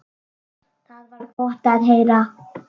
Það var gott að heyra.